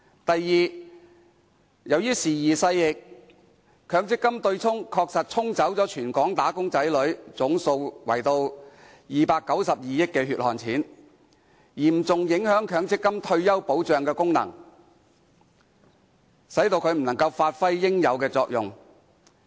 第二，由於時移勢易，強積金對沖確實"沖"走全港"打工仔女"合共292億元"血汗錢"，嚴重影響強積金的退休保障功能，使其不能發揮應有作用。